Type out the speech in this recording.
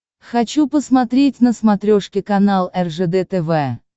хочу посмотреть на смотрешке канал ржд тв